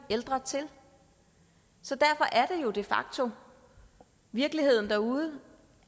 ældre til så derfor er det jo de facto virkeligheden derude